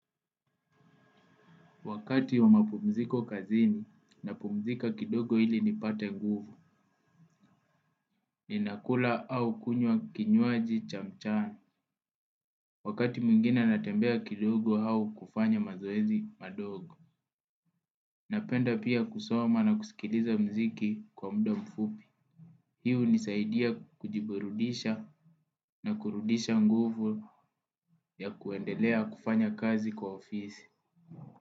Wakati wa mapumziko kazini napumzika kidogo ili nipate nguvu, ninakula au kunywa kinywaji cha mchana. Wakati mwingina natembea kidogo au kufanya mazoezi madogo. Napenda pia kusoma na kusikiliza muziki kwa muda mfupi. Hii hunisaidia kujiburudisha na kurudisha nguvu ya kuendelea kufanya kazi kwa ofisi.